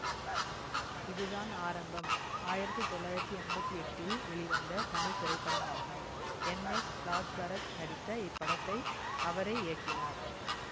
இதுதான் ஆரம்பம் ஆயிரத்தி தொள்ளாயிரத்தி எம்பத்தி எட்டில் வெளிவந்த தமிழ் திரைப்படமாகும் என் எஸ் ராஜ்பரத் நடித்த இப்படத்தை அவரே இயக்கினார்